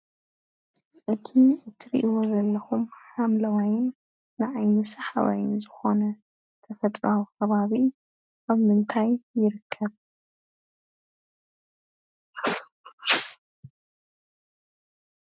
እቲ ትሪእዎ ዘለዅም ሓምለዋይን ንዓይኒ ስሓባይን ዝኾነ ተፍጥሮአዊ ኸባቢ አብ ምንታይ ይርከብ?